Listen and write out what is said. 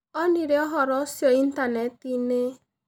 Onire ũhoro ũcio Intaneti-inĩ.